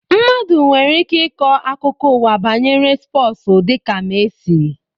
Mmadụ nwere ike ikọ akụkọ ụwa banyere spọsu dịka Mesi